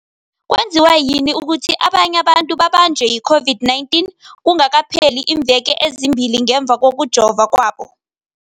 kwenziwa yini ukuthi abanye abantu babanjwe yi-COVID-19 kungakapheli iimveke ezimbili ngemva kokujova kwabo?